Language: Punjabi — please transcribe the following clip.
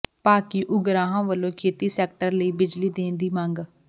ਭਾਕਿਯੂ ਉਗਰਾਹਾਂ ਵਲੋਂ ਖੇਤੀ ਸੈਕਟਰ ਲੲਾੀ ਬਿਜਲੀ ਦੇਣ ਦੀ ਮੰਗ